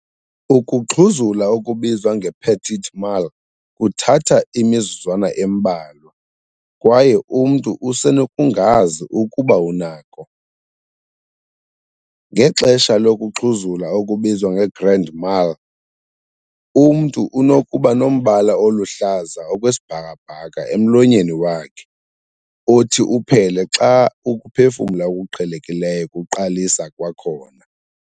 Ukuxhuzula okubizwa nge-petit mal kuthatha imizuzwana embalwa, kwaye umntu usenokungazi ukuba unako. Ngexesha lokuxhuzula okubizwa nge-grand mal, umntu unokuba nombala oluhlaza okwesibhakabhaka emlonyeni wakhe, othi uphele xa ukuphefumla okuqhelekileyo kuqalisa kwakhona.